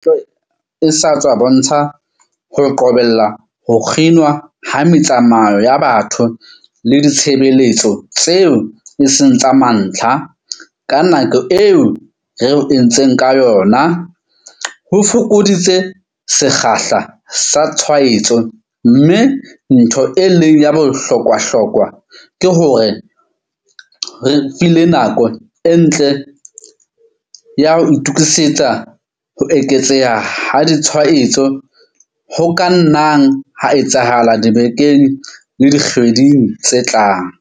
E sa tswa bontsha, ho qobella ho kginwa ha metsamao ya batho le ditshebeletso tseo e seng tsa mantlha ka nako eo re ho entseng ka yona, ho fokoditse sekgahla sa tshwaetso mme ntho e leng ya bohlokwahlokwa, ke hore ho re file nako e ntle ya ho itokisetsa ho eketseha ha ditshwaetso ho ka nnang ha etsahala dibekeng le dikgweding tse tlang.